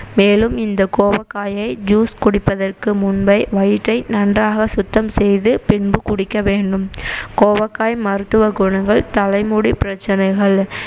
மேலும் இந்த கோவக்காயை juice குடிப்பதற்கு முன்பே வயிற்றை நன்றாக சுத்தம் செய்து பின்பு குடிக்க வேண்டும் கோவக்காய் மருத்துவ குணங்கள் தலைமுடி பிரச்சனைகள்